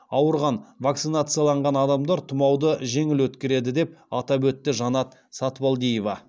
ауырған вакцинацияланған адамдар тұмауды жеңіл өткереді деп атап өтті жанат сатыбалдиева